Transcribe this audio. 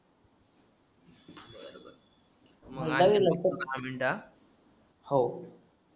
हो